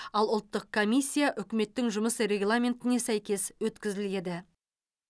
ал ұлттық комиссия үкіметтің жұмыс регламентіне сәйкес өткізіледі